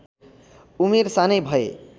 उमेर सानै भए